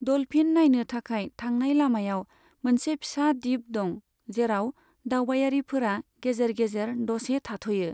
Dolphin नायनो थाखाय थांनाय लामायाव मोनसे फिसा दीप दं, जेराव दावबायारिफोरा गेजेर गेजेर द'से थाद'यो।